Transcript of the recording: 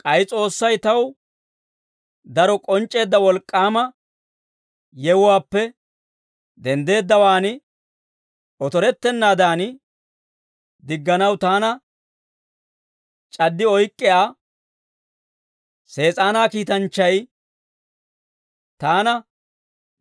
K'ay S'oossay taw daro k'onc'c'eedda wolk'k'aama yewuwaappe denddeeddawaan otorettennaadan digganaw taana c'addi oyk'k'iyaa, Sees'aanaa kiitanchchay, taana